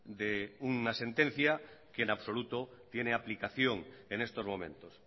de una sentencia que en absoluto tiene aplicación en estos momentos